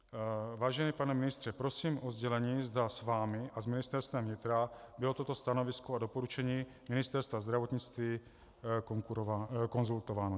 Vážený pane ministře, prosím o sdělení, zda s vámi a s Ministerstvem vnitra bylo toto stanovisko a doporučení Ministerstva zdravotnictví konzultováno.